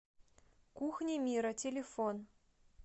кухни мира телефон